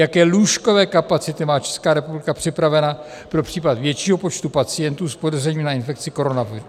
Jaké lůžkové kapacity má Česká republika připravena pro případ většího počtu pacientů s podezřením na infekci koronavirem?